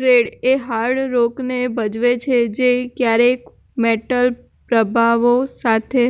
red એ hard રોકને ભજવે છે જે ક્યારેક મેટલ પ્રભાવો સાથે